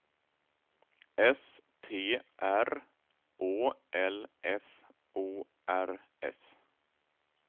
S T R Å L F O R S